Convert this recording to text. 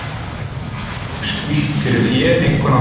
Þar var mjög skýlt fyrir fé, einkum á haustin.